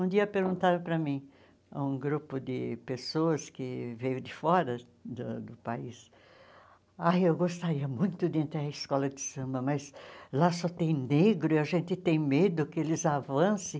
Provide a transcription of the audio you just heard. Um dia perguntaram para mim, um grupo de pessoas que veio de fora do do país, ai eu gostaria muito de entrar em escola de samba, mas lá só tem negro e a gente tem medo que eles avancem.